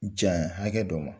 Janya hakɛ dɔ ma